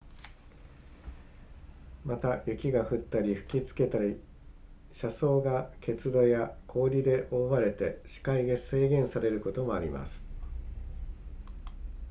また雪が降ったり吹きつけたり車窓が結露や氷で覆われて視界が制限されることもあります